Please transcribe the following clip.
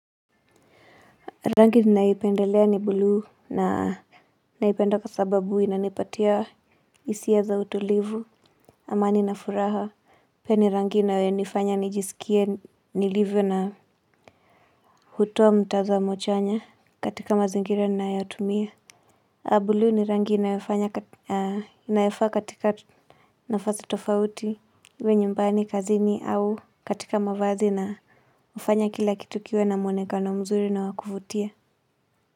Rangi ninaipendelea ni bluu na naipenda kwa sababu inanipatia hisia za utulivu, amani na furaha. Pia ni rangi inayonifanya nijisikie nilivyo na hutoa mtazamo chanya katika mazingira ninayotumia. Bului ni rangi inayofaa katika nafasi tofauti, iwe nyumbani, kazini au katika mavazi na hufanya kila kitu kiwe na mwoneka na mzuri na wa kuvutia.